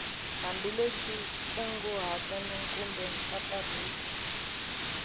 hambileswi nkunguhato na kumbe mpfampfarhuto